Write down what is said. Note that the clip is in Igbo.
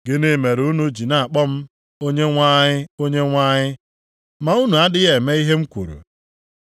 “Gịnị mere unu ji na-akpọ m, ‘Onyenwe anyị, Onyenwe anyị,’ ma unu adịghị eme ihe m kwuru?